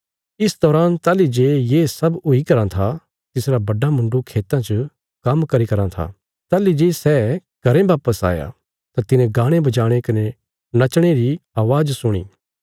इस दौरान ताहली जे ये सब हुई करां था तिसरा बड्डा मुण्डु खेतां च काम्म करीराँ था ताहली जे सै घरें वापस आया तां तिने गाणे बजाणे कने नचणे री अवाज़ सुणी